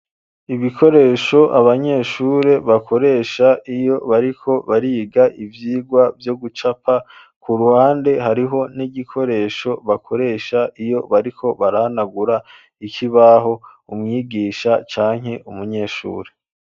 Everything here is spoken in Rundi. Ibikoresho, abanyeshure bakoresha, iyo bariko bariga ivyigwa, vyo gucapa; ku ruhande, hariho n'igikoresho, bakoresha, iyo bariko barahanagura ikibaho, umwigisha, canke umunyeshure.